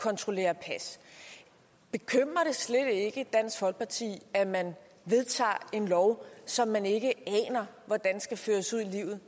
kontrollere pas bekymrer det slet ikke dansk folkeparti at man vedtager en lov som man ikke aner hvordan skal føres ud i livet